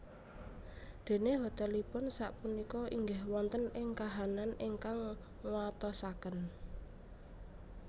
Déné hotelipun sak punika inggih wonten ing kahanan ingkang nguatosaken